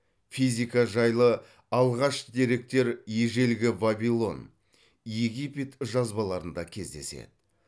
физика жайлы алғаш деректер ежелгі вавилон египет жазбаларында кездеседі